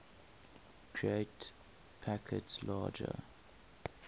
create packets larger